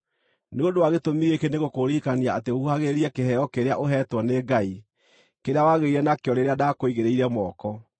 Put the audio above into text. Nĩ ũndũ wa gĩtũmi gĩkĩ nĩngũkũririkania atĩ ũhuhagĩrĩrie kĩheo kĩrĩa ũheetwo nĩ Ngai, kĩrĩa wagĩire nakĩo rĩrĩa ndakũigĩrĩire moko.